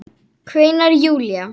kveinar Júlía.